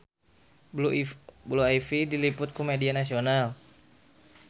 Blue Ivy diliput ku media nasional